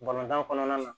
Balontan kɔnɔna na